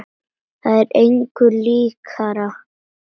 Það er engu líkara.